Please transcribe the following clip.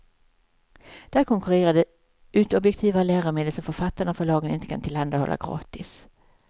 Där konkurrerar det ut objektivare läromedel som författarna och förlagen inte kan tillhandahålla gratis.